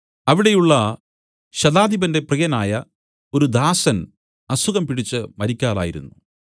അവിടെയുള്ള ശതാധിപന്റെ പ്രിയനായ ഒരു ദാസൻ അസുഖം പിടിച്ച് മരിക്കാറായിരുന്നു